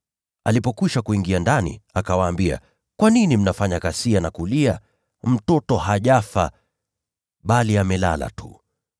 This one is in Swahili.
Alipokwisha kuingia ndani, akawaambia, “Kwa nini mnafanya ghasia na kulia? Mtoto hajafa, bali amelala tu.”